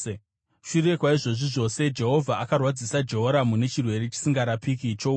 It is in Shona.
Shure kwaizvozvi zvose, Jehovha akarwadzisa Jehoramu nechirwere chisingarapike choura.